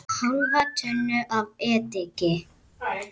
Hálfa tunnu af ediki.